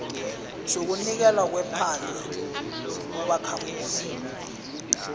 sokunikelwa kwephandle ubakhamuzi